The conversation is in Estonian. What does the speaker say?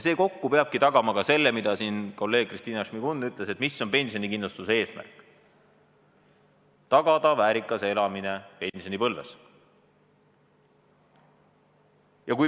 See kokku peabki tagama ka, nagu siin kolleeg Kristina Šmigun ütles, pensionikindlustuse eesmärgi: tagada väärikas elamine pensionipõlves.